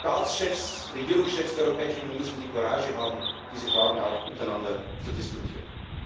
Die Staatschefs, Regierungschefs der Europäischen Union müssen die Courage haben, diese Fragen auch untereinander zu diskutieren.